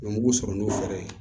U bɛ mugu sɔrɔ n'o fɛɛrɛ ye